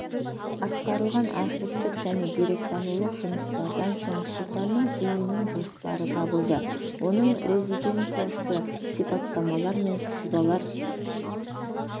атқарылған архивтік және деректанулық жұмыстардан соң сұлтанның үйінің жоспары табылды оның резиденциясы сипаттамалар мен сызбалар